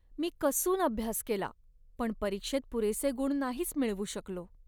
मी कसून अभ्यास केला, पण परीक्षेत पुरेसे गुण नाहीच मिळवू शकलो.